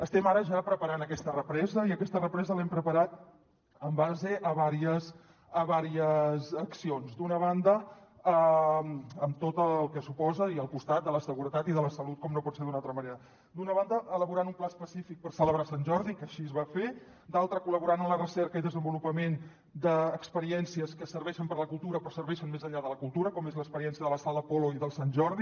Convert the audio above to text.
estem ara ja preparant aquesta represa i aquesta represa l’hem preparat en base a diverses accions amb tot el que suposa i al costat de la seguretat i de la salut com no pot ser d’una altra manera d’una banda elaborant un pla específic per celebrar sant jordi que així es va fer d’altra col·laborant en la recerca i desenvolupament d’experiències que serveixen per la cultura però serveixen més enllà de la cultura com és l’experiència de la sala apolo i del sant jordi